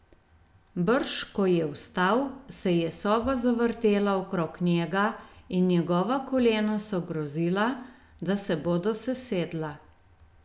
Brž ko je vstal, se je soba zavrtela okrog njega in njegova kolena so grozila, da se bodo sesedla.